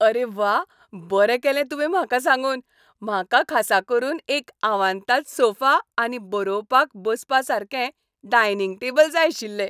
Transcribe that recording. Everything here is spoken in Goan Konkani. अरे व्वा, बरें केलें तुवें म्हाका सांगून! म्हाका खासा करून एक आवांताद सोफा आनी बरोवपाक बसपासारकें डायनिंग टेबल जाय आशिल्लें.